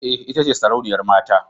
Ee, ita ce sarauniyar mata.